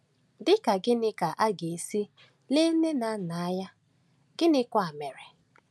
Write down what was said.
Dị ka gịnị ka a ga-esi le nne na nna anya, gịnịkwa mere?